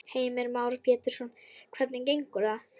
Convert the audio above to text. Heimir Már Pétursson: Hvernig gengur það?